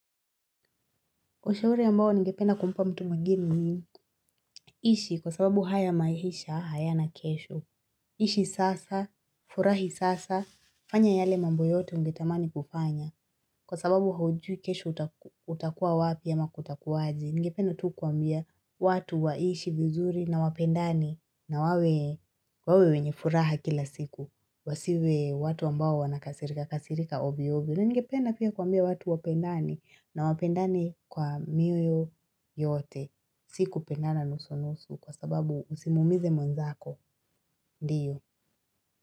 Ushauri ambao ningependa kumpa mtu mwingine ni ishi kwa sababu haya maisha, hayana kesho. Ishi sasa, furahi sasa, fanya yale mambo yote ungetamani kufanya. Kwa sababu haujui kesho utaku utakuwa wapi ama kutakuwa aje. Ningependa tu kuambia watu waishi vizuri na wapendani na wawe wawe wenye furaha kila siku. Wasiwe watu ambawa wanakasirika, kasirika ovyo ovyo ningependa pia kuambia watu wapendane na wapendane kwa mioyo yote. Siku pendana nusu nusu kwa sababu usimumize mwenzako. Ndiyo.